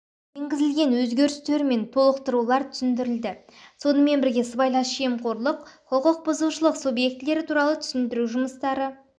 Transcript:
енгізілген өзгерістер мен толықтырулар түсіндірілді сонымен бірге сыбайлас жемқорлық құқық бұзушылық субъектілері туралы түсіндіру жұмыстары